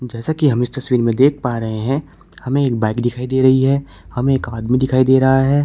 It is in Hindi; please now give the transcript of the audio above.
जैसा कि हम इस तस्वीर में देख पा रहे हैं हमें एक बाइक दिखाई दे रही है हमें एक आदमी दिखाई दे रहा हैं।